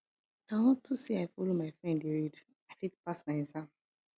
na unto say i follow my friend dey read i fit pass my exam